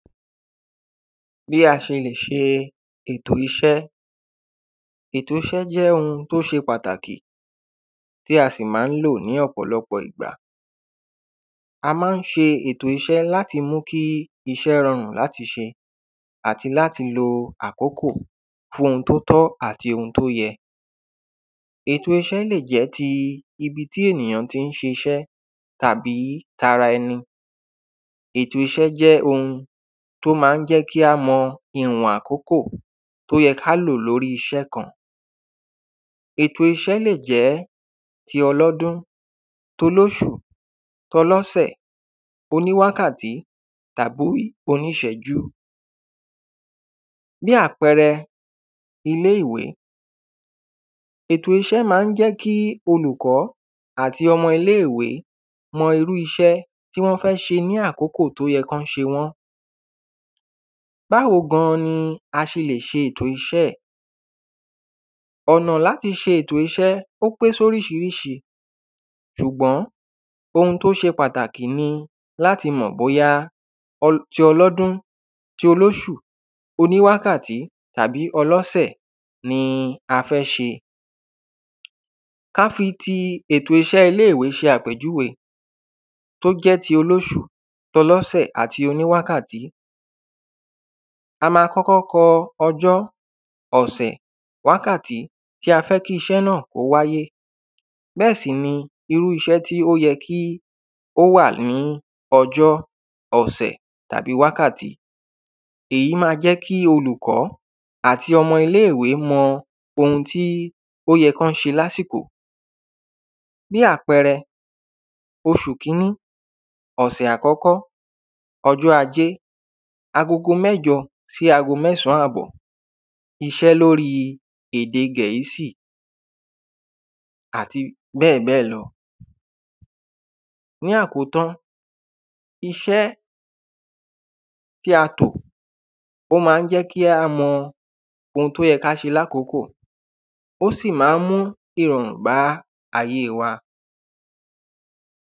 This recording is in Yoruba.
Bi a se le se eto ise Ètò iṣe jẹ́ oun tí ó ṣe pàtàkì tí a sì máa ń lò ní ọ̀pọ̀lọpọ̀ ìgbà A máa ń ṣe ètò iṣe láti mú kí iṣẹ́ rọrùn láti ṣe àti láti lo àkókò fún oun tí ó tọ́ àti oun tí ó yẹ Ètò iṣe lè jẹ́ ti ibi tí ènìyàn tí ń ṣe iṣẹ́ tàbí ti ara ẹni Ètò iṣe jẹ́ oun tí ó máa ń jẹ́ kí a mọ ìwọn àkókò tí ó yẹ kí a lò lórí iṣẹ́ kan Ètò iṣe lè jẹ́ ti ọlọ́dún ti olóṣù tí ọlọ́sẹ̀ oníwákàtí àbí tí oníṣẹ́jú Bí àpẹẹrẹ ilé ìwé Ètò iṣẹ́ máa ń jẹ́ kí olùkọ́ àti ọmọ ilé ìwé mọ irú iṣe tí wọ́n fẹ́ ṣe ní àkókò tí ó yẹ kí wọ́n ṣe wọ́n Báwo gan ni a ṣe lè ṣe ètò iṣẹ́ Ọ̀nà láti ṣe ètò iṣẹ́ ó pé sí oríṣiríṣi ṣùgbọ́n oun tí ó ṣe pàtàkì ni láti mọ̀ bóyá ti ọlọ́dún ti olóṣù oníwákàtí àbí tí ọlọ́sẹ̀ ni a fẹ́ ṣe Kí a fi ti ètò iṣẹ ilé ìwé ṣe àpèjúwe tí ó jẹ́ ti olóṣù ti ọlọ́sẹ̀ àti oníwákàtí A ma kọ́kọ́ kọ ọjọ́ ọ̀sẹ̀ wákàtí tí a fẹ́ kí iṣẹ́ náà kí ó wáyé Bẹ́ẹ̀ sì ni irú iṣẹ́ tí ó yẹ kí ó wà ní ọjọ́ ọsẹ̀ tàbí wákàtí Èyí ma jẹ́ kí olùkọ́ àti ọmọ ilé ìwé mọ oun tí ó yẹ kí wọ́n ṣe ní àsìkò Bí àpẹẹrẹ oṣù kíní ọsẹ̀ àkọ́kọ́ ọjọ́ ajé agogo mẹ́jọ sí ago mẹ́san àbọ̀ iṣẹ́ lórí èdè Gẹ̀ẹ́sì Àti bẹ́ẹ̀bẹ́ẹ̀ lọ Ní àkótán iṣe tí a tò ó máa ń jẹ́ kí a mọ oun tí ó yẹ kí á ṣe ní àkókò ó sì máa ń mú ìrọ̀rùn bá ayé wa